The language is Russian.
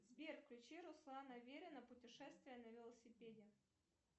сбер включи руслана верина путешествие на велосипеде